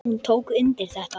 Hún tók undir þetta.